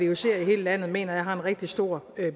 vucer i hele landet mener jeg har en rigtig stor